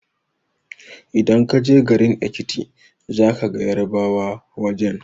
Idan ka je garin Ekiti za ka gan Yarbawa wajen